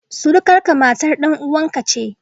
Surukarka, matar dan uwanka ce